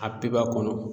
A pep'a kɔnɔ